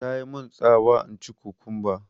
Tamun tsawa in ci kukumba